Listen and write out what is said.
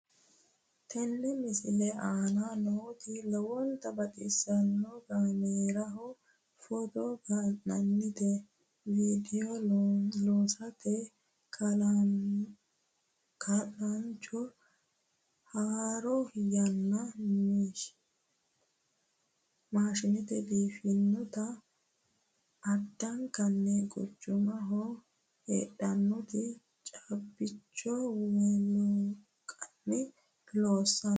tini misilete aana nooti lowonta baxissannoho kaameeraho footo ka'atenna vidiyoo loosate kaa'lannoho haaroo yanna maashshineeti biiffannote addankonni quchumaho heedhannote caabbichu wolqanni loosanno